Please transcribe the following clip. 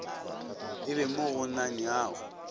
e be mo go nanyago